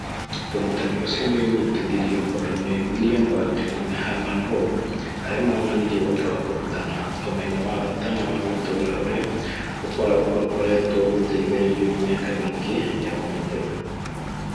Ũrutani ũcio nĩ ũnyitithirio mbaru nĩ William Bagley na Herman Holme, arĩa moonanirie bata wa kũrutana ũmenyo wa bata na wa gũtũũra ũrĩa ũkoretwo ũgĩteithĩrĩrio nĩ mĩaka mĩingĩ ya ũmenyeru.